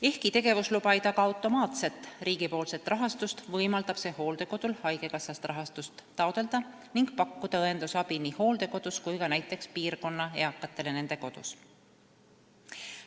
Ehkki tegevusluba ei taga automaatset riigi rahastust, võimaldab see hooldekodul taotleda haigekassast rahastust ning pakkuda õendusabi nii hooldekodus kui ka näiteks piirkonna eakatele nende oma kodus.